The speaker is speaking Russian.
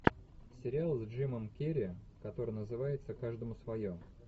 сериал с джимом кери который называется каждому свое